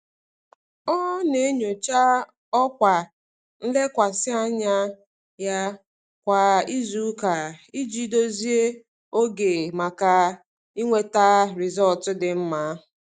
Ọ na-enyocha ọkwa nlekwasị anya ya kwa izuụka iji dozie oge maka inweta rịzọlt dị mma.